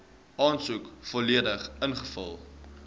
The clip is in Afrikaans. aansoek volledig ingevul